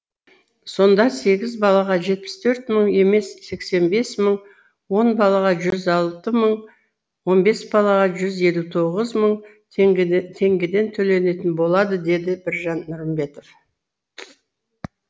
сонда сегіз балаға жетпіс төрт мың емес сексен бес мың он балаға жүз алты мың он бес балаға жүз елу тоғыз мың теңгеден төленетін болады деді біржан нұрымбетов